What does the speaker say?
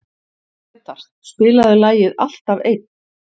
Gretar, spilaðu lagið „Alltaf einn“.